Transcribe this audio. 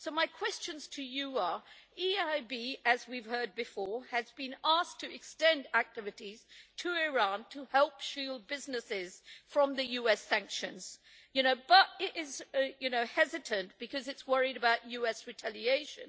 So my questions to you are the EIB, as we've heard before, has been asked to extend its activities to Iran to help shield businesses from the US sanctions, but it is hesitant because it is worried about US retaliation.